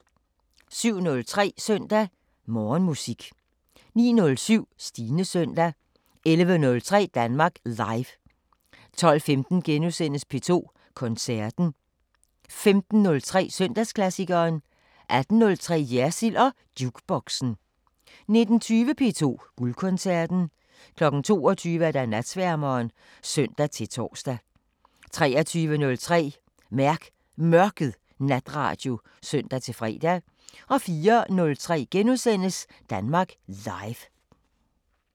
07:03: Søndag Morgenmusik 09:07: Stines Søndag 11:03: Danmark Live 12:15: P2 Koncerten * 15:03: Søndagsklassikeren 18:03: Jersild & Jukeboxen 19:20: P2 Guldkoncerten 22:00: Natsværmeren (søn-tor) 23:03: Mærk Mørket natradio (søn-fre) 04:03: Danmark Live *